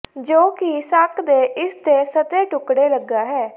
ਜੋ ਕਿ ਸੱਕ ਦੇ ਇਸ ਦੇ ਸਤਹ ਟੁਕੜੇ ਲਗਾ ਹੈ